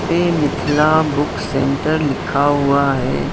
पे Mithila book centre लिखा हुआ है।